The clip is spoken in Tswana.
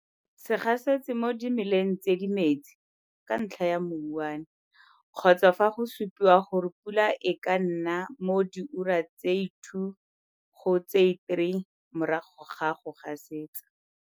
Se gasetse mo dimelang tse di metsi, ka ntlha ya mouwane, kgotsa fa go supiwa gore pula e ka na mo dioura tse 2 go tse 3 morago ga go gasetsa.